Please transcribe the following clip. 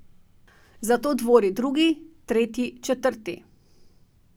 Zato dvori drugi, tretji, četrti.